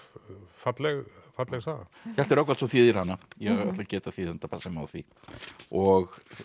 falleg falleg saga Hjalti Rögnvaldsson þýðir hana ég ætla að geta þýðenda passa mig á því og